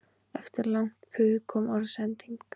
Eftir langt puð kom orðsending